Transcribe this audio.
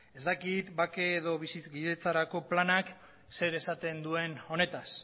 ez dakit bake edo bizikidetzarako planak zer esaten duen honetaz